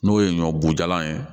N'o ye ɲɔ bo jalan ye